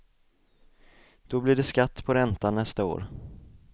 Då blir det skatt på räntan nästa år.